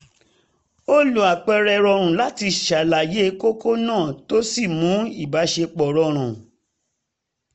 ó lo àpẹẹrẹ rọrùn láti ṣàlàyé kókó náà tó sì mú ìbáṣepọ̀ rọrùn